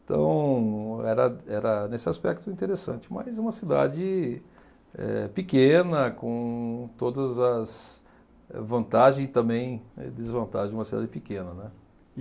Então era era nesse aspecto interessante, mas uma cidade eh pequena, com todas as vantagens e também desvantagens de uma cidade pequena, né.